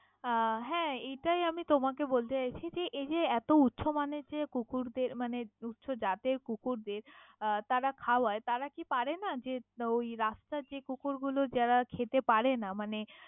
আহ হ্যাঁ এটাই আমি তোমাকে বলতে চাইছি এই যে এত উঁচু মানের যে কুকুরদের মানে উঁচু জাতের কুকুরদের আহ তারা খাওয়াই, তারা কি পারেনা যে ওই রাস্তার যেই কুকুর গুলো যারা খেতে পারে না মানে।